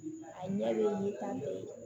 A ɲɛlen ka di